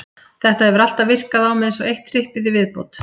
Þetta hefur alltaf virkað á mig eins og eitt trippið í viðbót.